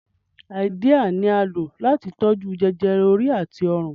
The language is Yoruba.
Háídíà ni à ń lò láti tó jú jẹjẹrẹ orí àti ọrùn